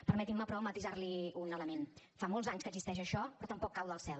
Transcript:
permetinme però matisarli un element fa molts anys que existeix això però tampoc cau del cel